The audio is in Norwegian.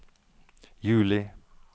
juli